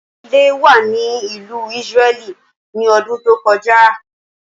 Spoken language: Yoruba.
Oláídé wà ní ìlú Ísírẹ́lì ní ọdún tó kọjá.